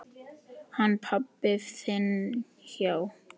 Hann pabbi þinn, já.